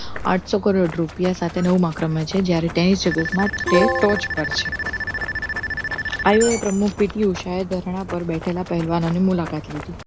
આંઠ સો કરોડ રૂપિયા સાથે નવમા ક્રમે છે જ્યારે tennis એ toch પર છે IIO પ્રમુખ PT ઉષા ઉપર બેઠેલા પહેલવાનોની મુલાકાત લીધી